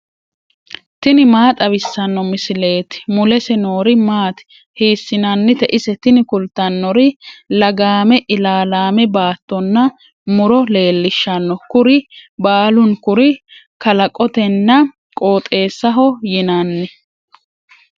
tini maa xawissanno misileeti ? mulese noori maati ? hiissinannite ise ? tini kultannori lagaame ilaalaame baattonna muro leellishshanno. kuri baalunkuri kalaqotenna qooxeessaho yinanni.